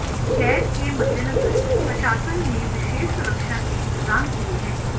गेर के मद्देनजर प्रशासन ने विशेष सुरक्षा के इंतजाम किए हैं